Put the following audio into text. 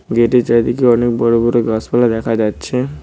Gate -এর চারিদিকে অনেক বড়ো বড়ো গাছপালা দেখা যাচ্ছে।